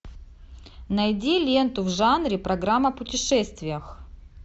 найди ленту в жанре программа о путешествиях